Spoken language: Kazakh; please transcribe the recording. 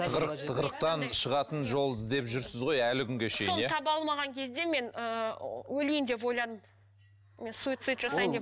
тығырық тығырықтан шығатын жол іздеп жүрсіз ғой әлі күнге шейін соны таба алмаған кезде мен ыыы өлейін деп ойладым мен суйцид жасайын деп